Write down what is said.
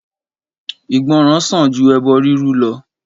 Ìgbọràn sàn ju ẹbọ rúrú lọ